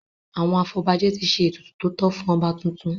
Àwọn afọbajẹ ti ṣe ètùtù tótọ́ fún ọba tuntun.